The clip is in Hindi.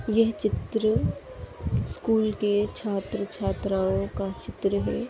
यह चित्र स्कूल के छात्र-छात्राओ का चित्र है।